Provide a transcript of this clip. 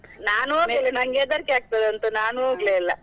ನಾನ್ ನಂಗೆ ಹೆದರ್ಕೆ ಆಗ್ತದಂತ ನಾನ್ ಹೋಗ್ಲೆ ಇಲ್ಲ.